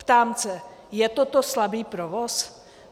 Ptám se - je toto slabý provoz?